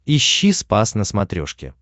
ищи спас на смотрешке